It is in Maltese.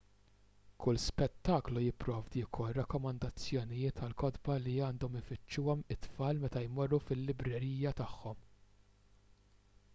kull spettaklu jipprovdi wkoll rakkomandazzjonijiet għal kotba li għandhom ifittxuhom it-tfal meta jmorru fil-librerija tagħhom